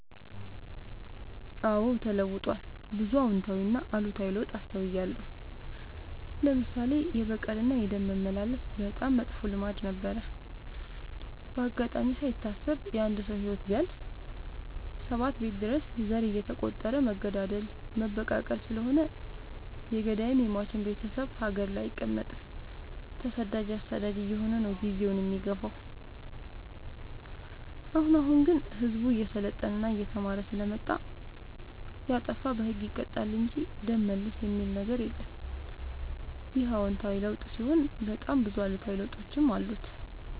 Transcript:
አዎድ ተለውጧል ብዙ አዎታዊ እና አሉታዊ ለውጥ አስታውያለሁ። ለምሳሌ፦ የበቀል እና የደም መመላለስ በጣም መጥፎ ልማድ ነበረ። በአጋጣሚ ካይታሰብ የአንድ ሰው ህይወት ቢያልፍ ሰባት ቤት ድረስ ዘር እየተ ቆጠረ መገዳደል መበቃቀል ስለሆነ የገዳይም የሞችም ቤቴሰብ ሀገር ላይ አይቀ መጥም ተሰዳጅ አሳዳጅ አየሆነ ነው። ጊዜውን የሚገፋው። አሁን አሁን ግን ህዝቡ እየሰለጠና እየተማረ ስለመጣ። የጣፋ በህግ ይቀጣል እንጂ ደም መልስ የሚበል ነገር የለም ይህ አዎታዊ ለውጥ ሲሆን በጣም ብዙ አሉታዊ ለውጦችም አሉ።